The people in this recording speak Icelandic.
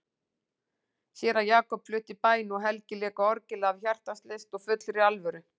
Séra Jakob flutti bæn og Helgi lék á orgelið af hjartans lyst og fullri alvöru.